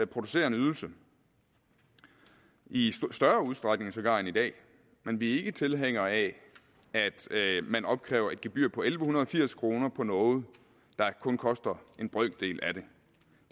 producere en ydelse i større udstrækning sågar end i dag men vi er ikke tilhængere af at man opkræver et gebyr på elleve firs kroner for noget der kun koster en brøkdel af det